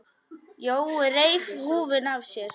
Jói reif húfuna af sér.